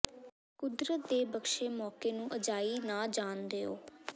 ਕੁਦਰਤ ਦੇ ਬਖਸੇ ਮੌਕੇ ਨੂੰ ਅਜਾਈ ਨਾ ਜਾਣ ਦਿਓ